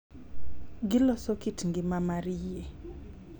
Giloso kit ngima mar yie.